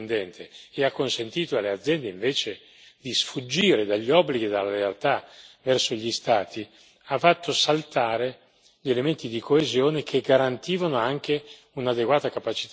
di sfuggire dagli obblighi e dalla lealtà verso gli Stati, hanno fatto saltare gli elementi di coesione che garantivano anche un'adeguata capacità competitiva al sistema economico.